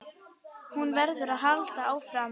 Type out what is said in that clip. Hún verður að halda áfram.